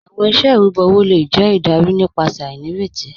Awọn iṣẹ irubọ owo le jẹ idarí nípasẹ̀ ainíretí